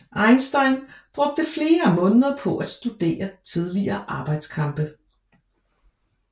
Eisenstein brugte flere måneder på at studere tidligere arbejdskampe